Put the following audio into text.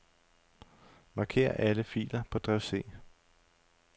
Marker alle filer på drev C.